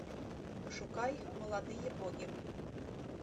пошукай молодые боги